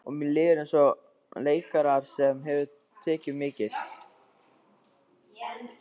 Og mér líður eins og leikara sem hefur tekið mikil